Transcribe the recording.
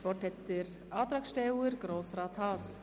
Das Wort hat der Antragsteller, Grossrat Haas.